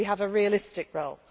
role. We have a realistic